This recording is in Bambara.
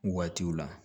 Waatiw la